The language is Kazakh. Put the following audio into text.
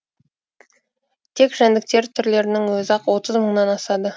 тек жәндіктер түрлерінің өзі ақ отыз мыңнан асады